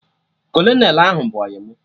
Kolonel ahụ bụ ọyị mụ